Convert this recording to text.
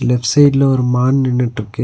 Left சைடுல ஒரு மான் நின்னுட்ருக்கு.